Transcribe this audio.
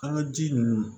An ka ji ninnu